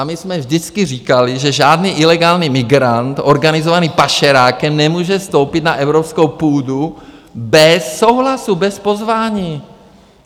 A my jsme vždycky říkali, že žádný ilegální migrant organizovaný pašerákem nemůže vstoupit na evropskou půdu bez souhlasu, bez pozvání.